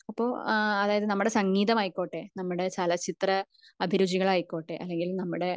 ഇപ്പൊ അതായത് നമ്മുടെ സംഗീതമായികൊട്ടെ നമ്മുടെ ചലച്ചിത്ര അഭിരുചികൾ ആയിക്കോട്ടെ